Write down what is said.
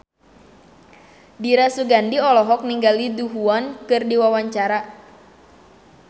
Dira Sugandi olohok ningali Du Juan keur diwawancara